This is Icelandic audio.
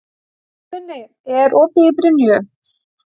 Funi, er opið í Brynju?